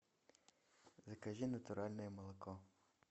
закажи натуральное молоко